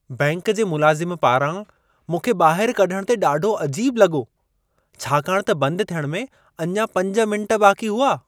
Bank जे मुलाज़िम पारां मूंखे ॿाहिरि कढणु ते ॾाढो अजीबु लॻो। छाकाणि त बंदि थियण में अञा 5 मिंट बाक़ी हुआ।